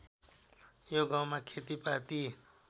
यो गाउँमा खेतीपाती